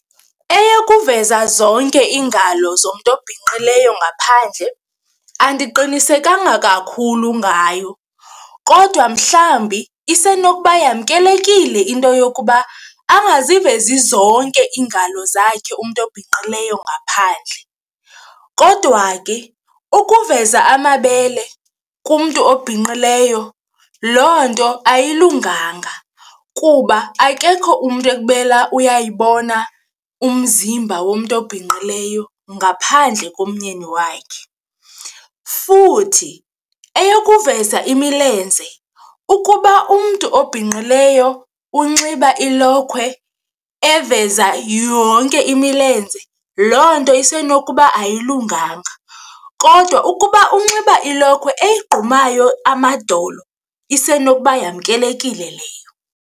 Eyokuveza zonke iingalo zomntu obhinqileyo ngaphandle andiqinisekanga kakhulu ngayo kodwa mhlawumbi isenokuba yamkelekile into yokuba angazivezi zonke ingalo zakhe umntu obhinqileyo ngaphandle. Kodwa ke ukuveza amabele kumntu obhinqileyo, loo nto ayilunganga kuba akekho umntu ekumela uyayibona umzimba womntu obhinqileyo ngaphandle kumyeni wakhe. Futhi eyokuveza imilenze, ukuba umntu obhinqileyo unxiba ilokhwe eveza yonke imilenze loo nto isenokuba ayilunganga kodwa ukuba unxiba ilokhwe egqumayo amadolo isenokuba yamkelekile leyo.